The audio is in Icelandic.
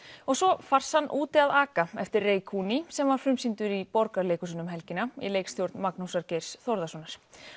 og svo farsann úti að aka eftir Rekuni sem var frumsýnt í Borgarleikhúsinu um helgina í leikstjórn Magnúsar Geirs Þórðarsonar